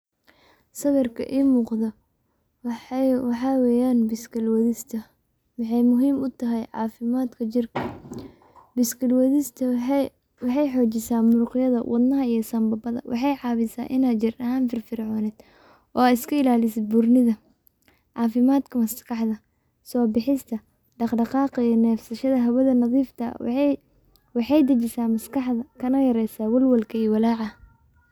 Sawirka ii muqda waxaa weeyaan biskili wadista. Waxaay muhiim utahay caafimaadka jirka. Biskili wadista waxaay xoojisaa muruqyada, wadnaha iyo sanbabada. Waxaay caawisaa inaay jir ahaan inaad firfircoonid oo aad iska ilaalisid burnida, caafimaadka maskaxda, soobixista, daqdaqaaqa iyo neefsashada hawada nadiifka ah. Waaxay dijisaa maskaxda kana yareeysaa walwalka iyo walaaca.